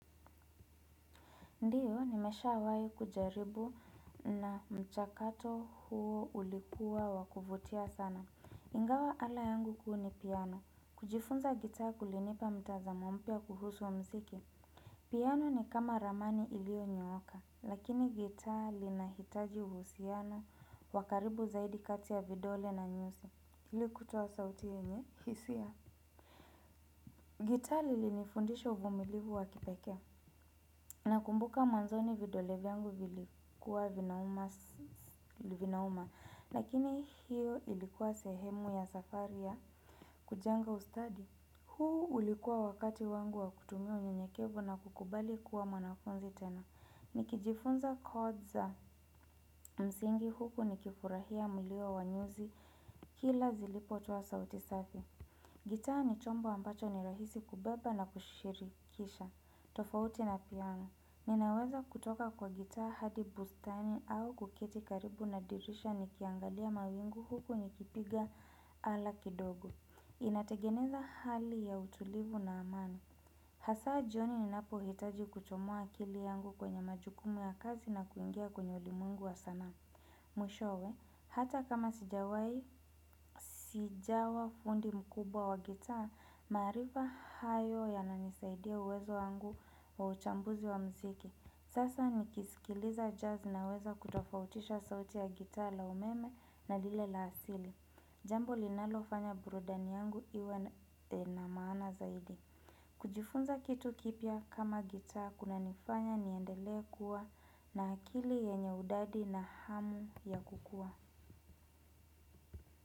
Ndiyo, nimeshawahi kujaribu na mchakato huo ulikuwa wa kuvutia sana. Ingawa ala yangu huwa ni piano kujifunza gita kulinipa mtazamo mpya kuhusu wa muziki. Piano ni kama ramani iliyonyooka. Lakini gitaa linahitaji uhusiano wa karibu zaidi kati ya vidole na nyuzi. Ilikutoa sauti yenye, hisia. Gitaa lilinifundisha uvumilivu wa kipekee. Nakumbuka mwanzoni vidole vyangu vilikuwa vinauma lakini hiyo ilikuwa sehemu ya safari ya kujenga ustadi huu ulikuwa wakati wangu wa kutumia unyenyekevu na kukubali kuwa mwanafunzi tena. Nikijifunza kodi za msingi huku nikifurahia mlio wa nyuzi kila zilipotowa sauti safi gitaa ni chombo ambacho ni rahisi kubeba na kushirikisha, tofauti na piano. Ninaweza kutoka na gitaa hadi bustani au kuketi karibu na dirisha nikiangalia mawingu huku nikipiga ala kidogo. Inategemea na hali ya utulivu na amani. Hasa jioni ninapohitaji kuchomoa akili yangu kwenye majukumu ya kazi na kuingia kwenye ulimungu wa sanaa. Mwishowe, hata kama sijawa fundi mkubwa wa gitaa, maarifa hayo yananisaidia uwezo wangu wa uchambuzi wa muziki. Sasa nikisikiliza jazz naweza kutofautisha sauti ya gitaa na umeme na lile la asili. Jambo linalofanya burudani yangu iwe inamaana zaidi. Kujifunza kitu kipya kama gitaa kuna nifanya niendele kuwa na akili yenye udadisi na hamu ya kukua.